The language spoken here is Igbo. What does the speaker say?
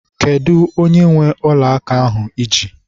Kedụ onye nwe ọla aka ahụ I ji?